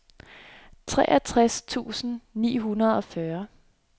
treogtres tusind ni hundrede og fyrre